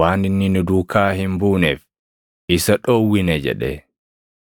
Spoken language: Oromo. waan inni nu duukaa hin buuneef isa dhowwine” jedhe.